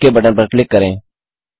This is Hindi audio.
ओक बटन पर क्लिक करें